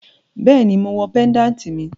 Bẹẹni, mo wọ péńdàtì míì.